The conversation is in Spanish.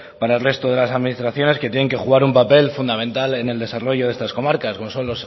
para el resto de las administraciones que tienen que jugar un papel fundamental en el desarrollo de estas comarcas como son